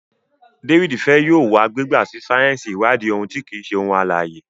David fè yóò wa gbigba sí sáyẹnsì iwadi àwọn òun ti kii ṣe ohun alãye.